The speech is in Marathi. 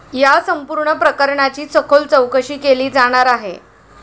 या संपूर्ण प्रकरणाची सखोल चौकशी केली जाणार आहे.